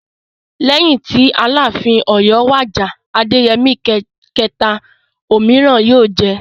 Lẹ́yìn tí Aláàfin Ọ̀yọ́ wàjà (Adéyẹmí kẹ̀ta). Òmíràn yóò jẹ.